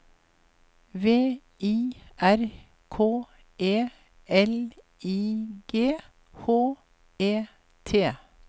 V I R K E L I G H E T